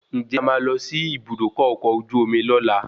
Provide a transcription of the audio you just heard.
Ǹjẹ́ a máa lọ sí Ibùdókọ̀ ọkọ̀ ojú omi lola?